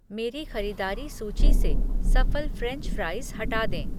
मेरी खरीदारी सूची से सफल फ़्रेंच फ़्राइज़ हटा दें।